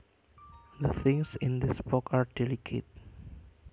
The things in this box are delicate